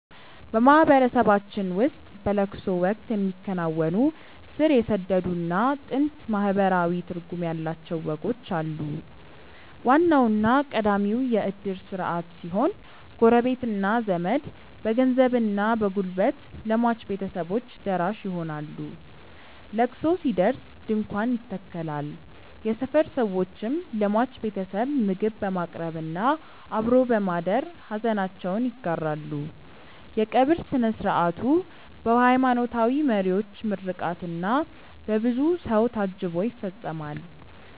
በማህበረሰባችን ውስጥ በለቅሶ ወቅት የሚከናወኑ ስር የሰደዱና ጥልቅ ማህበራዊ ትርጉም ያላቸው ወጎች አሉ። ዋናውና ቀዳሚው የእድር ስርዓት ሲሆን፣ ጎረቤትና ዘመድ በገንዘብና በጉልበት ለሟች ቤተሰቦች ደራሽ ይሆናሉ። ለቅሶ ሲደርስ ድንኳን ይተከላል፣ የሰፈር ሰዎችም ለሟች ቤተሰብ ምግብ በማቅረብና አብሮ በማደር ሐዘናቸውን ይጋራሉ። የቀብር ሥነ ሥርዓቱ በሃይማኖታዊ መሪዎች ምርቃትና በብዙ ሰው ታጅቦ ይፈጸማል።